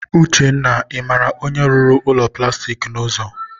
Uchenna, ị mara onye rụrụ ụlọ plastik a n'ụzọ?